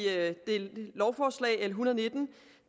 det lovforslag l en hundrede og nitten